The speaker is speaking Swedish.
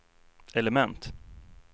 element